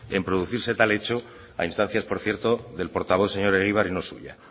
en producirse tal hecho a instancias por cierto del portavoz señor egibar y no suya